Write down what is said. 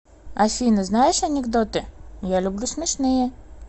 афина знаешь анекдоты я люблю смешные